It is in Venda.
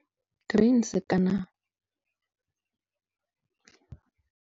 Grains kana.